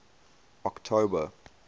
october